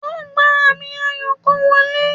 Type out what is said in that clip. O gba ami ayo kan wọle